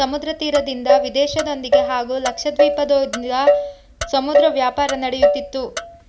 ಸಮುದ್ರ ತೀರದಿಂದ ವಿದೇಶದೊಂದಿಗೆ ಹಾಗೂ ಲಕ್ಷ ದ್ವೀಪದೊಂದಿಗೆ ಸಮುದ್ರ ವ್ಯಾಪಾರ ನಡೆಯುತ್ತಿತ್ತು